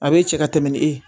A bɛ cɛ ka tɛmɛ ni e ye